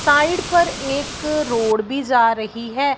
Side पर एक road भी जा रही है।